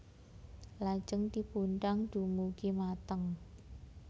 Lajeng dipundang dumugi mateng